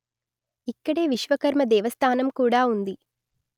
ఇక్కడే విశ్వకర్మ దేవస్థానం కూడా ఉంది